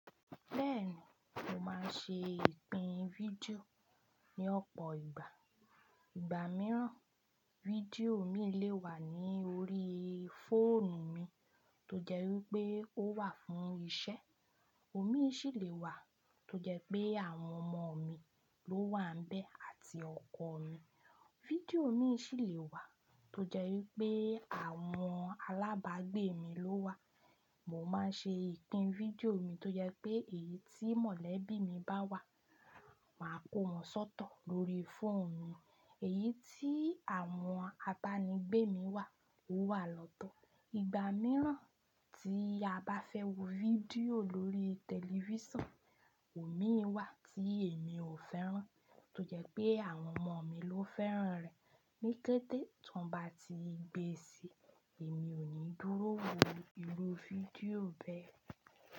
Bẹ́ẹ̀ni, mo máa ń ṣe ìpín fídíò ní ọ̀pọ̀ ìgbà. Ìgbà mìíràn, fídíò mí lè wà ní orí fóònù mi tó jẹ́ wí pé ó wà fún iṣẹ́, òmíì ṣì lè wà tó jẹ́ pé àwọn ọmọ mi ló wà n bẹ́ẹ̀ àti ọkọ mi. Fídíò míì ṣì lè wà tó jẹ́ wí pé àwọn alábàágbé mi ló wà. Mo máa ń ṣe ìpín fídíò mi tó jẹ́ pé èyí tí mọ̀lẹ́bí mi bá wà, màá kó wọn sọ́tọ lórí fóònù mi, èyí tí àwọn abaanì gbé mi wà ó wà lọ́tọ̀. Ìgbà mìíràn tí a bá fẹ́ wo fídíò lórí tẹlifísàn, òmíì wà tí èmi ò fẹ́ràn tó jẹ́ pé àwọn ọmọ mi ló fẹ́ràn rẹ̀. Ní kété tó ń ba ti gbé e síi, èmi ò ní dúró wo irú fídíò bẹ́ẹ̀